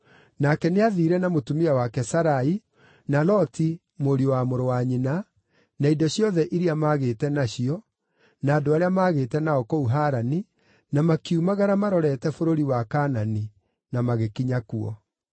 Nake nĩathiire na mũtumia wake Sarai, na Loti, mũriũ wa mũrũ wa nyina, na indo ciothe iria maagĩte nacio, na andũ arĩa maagĩte nao kũu Harani, na makiumagara marorete bũrũri wa Kaanani, na magĩkinya kuo.